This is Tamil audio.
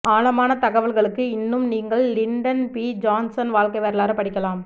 ஆழமான தகவல்களுக்கு இன்னும் நீங்கள் லிண்டன் பி ஜான்சன் வாழ்க்கை வரலாறு படிக்கலாம்